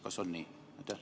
Kas on nii?